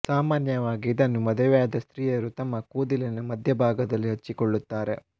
ಸಾಮಾನ್ಯವಾಗಿ ಇದನ್ನು ಮದುವೆಯಾದ ಸ್ತ್ರೀಯರು ತಮ್ಮ ಕೂದಲಿನ ಮಧ್ಯದಲ್ಲಿ ಹಚ್ಚಿಕೊಳ್ಳುತ್ತಾರೆ